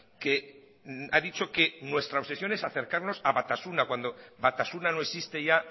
que ha dicho que nuestra obsesión es acercarnos a batasuna cuando batasuna no existe ya